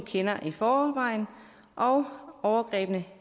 kender i forvejen og overgrebene